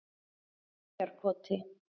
Eyjarkoti